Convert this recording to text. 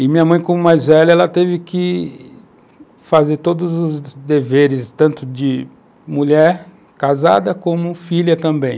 E minha mãe, como mais velha, ela teve que fazer todos os deveres, tanto de mulher casada, como filha também.